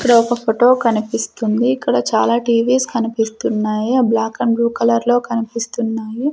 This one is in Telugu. ఇక్కడ ఒక ఫోటో కనిపిస్తుంది ఇక్కడ చాలా టీ_వీ స్ కనిపిస్తున్నాయి ఆ బ్లాక్ అండ్ బ్లూ కలర్ లో కనిపిస్తున్నాయి.